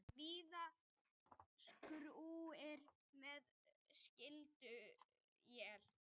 Víða skúrir eða slydduél